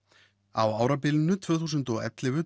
á árabilinu tvö þúsund og ellefu